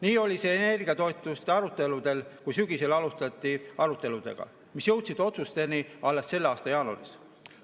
Nii oli see energiatoetuste aruteludel, kui sügisel alustati arutelusid, mis jõudsid otsusteni alles selle aasta jaanuaris.